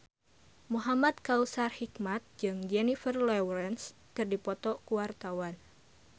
Muhamad Kautsar Hikmat jeung Jennifer Lawrence keur dipoto ku wartawan